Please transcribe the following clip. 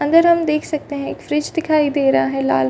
अंदर हम देख सकते हैं एक फ्रिज दिखाई दे रहा है।